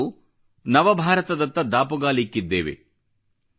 ಇಂದು ನಾವು ನವಭಾರತದತ್ತ ದಾಪುಗಾಲಿಕ್ಕಿದ್ದೇವೆ